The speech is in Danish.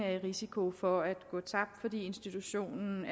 risiko for at pengene går tabt fordi institutionen